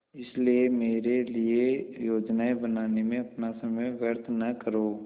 इसलिए मेरे लिए योजनाएँ बनाने में अपना समय व्यर्थ न करो